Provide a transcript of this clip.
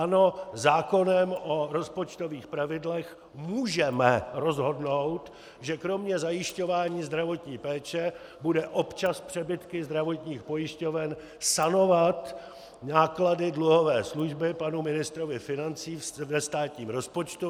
Ano, zákonem o rozpočtových pravidlech můžeme rozhodnout, že kromě zajišťování zdravotní péče bude občas přebytky zdravotních pojišťoven sanovat náklady dluhové služby panu ministrovi financí ve státním rozpočtu.